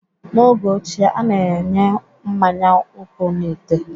N'oge ochie, a na-enye mmanya nkwụ n'ite